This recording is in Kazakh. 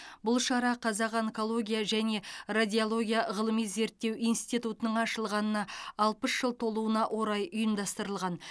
бұл шара қазақ онкология және радиология ғылыми зерттеу институтының ашылғанына алпыс жыл толуына орай ұйымдастырылған